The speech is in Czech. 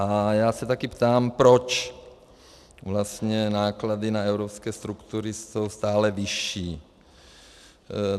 A já se taky ptám, proč vlastně náklady na evropské struktury jsou stále vyšší.